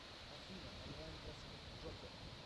афина онлайн просмотр джокер